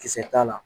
Kisɛ t'a la